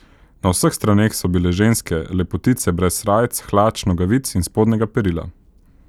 Na vseh straneh so bile ženske, lepotice brez srajc, hlač, nogavic in spodnjega perila.